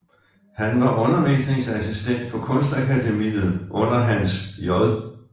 Han var undervisningsassistent på Kunstakademiet under Hans J